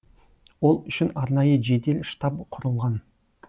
ол үшін арнайы жедел штаб құрылған